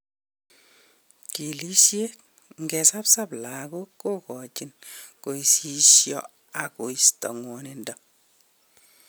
Chilisiet: Ngesabsab lagok kogochin kosisyo ak kosto ngwodindo.